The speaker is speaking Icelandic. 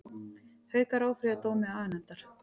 Haukar áfrýja dómi aganefndar